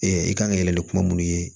i kan ka yɛlɛ ni kuma minnu ye